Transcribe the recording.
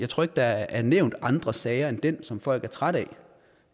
tror ikke der er nævnt andre sager end den som folk er trætte